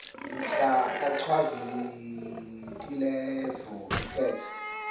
mhla achwavitilevo ethetha